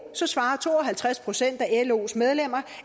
svarer to og halvtreds procent af los medlemmer